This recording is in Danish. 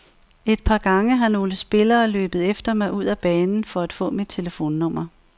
Et par gange har nogle spillere løbet efter mig ud af banen, for at få mit telefonnummer.